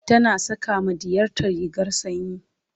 tana saƙa ma ɗiyarta rigar sanyi